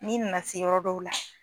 N'i nana se yɔrɔ dɔw la